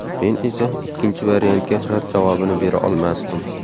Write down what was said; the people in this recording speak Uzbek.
Men esa ikkinchi variantga rad javobini bera olmasdim.